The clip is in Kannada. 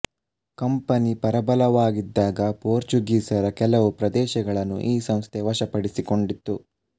ಕಂಪನಿ ಪರಬಲವಾಗಿದ್ದಾಗ ಪೋರ್ಚುಗೀಸರ ಕೆಲವು ಪ್ರದೇಶಗಳನ್ನು ಈ ಸಂಸ್ಥೆ ವಶಪಡಿಸಿಕೊಂಡಿತ್ತು